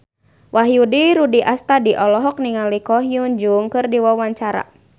Wahyu Rudi Astadi olohok ningali Ko Hyun Jung keur diwawancara